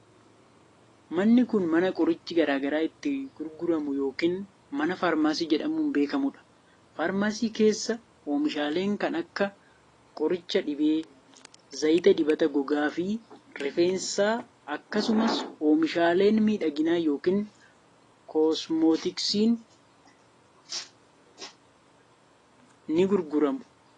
Manni kun, mana qorichi garaa garaa itti gurguramu yokin mana faarmaasii jedhamuun beekamuu dha. Faarmaasii keessa oomishaaleen kan akka: qoricha dhibee, zayita dibata gogaa fi rifeensaa akksumas oomishaaleen miidhaginaa yookiin kosmeetiksii ni gurguramu.